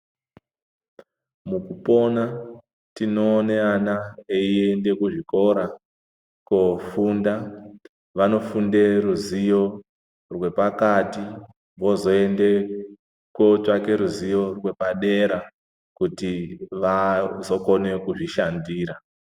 Mukupona ,tinoonana teyiende kuzvikora kofunda, vanofunde ruzivo rwepakati, vozoende kotsvake ruzivo rwepadera kuti vazokone kuzvishandira.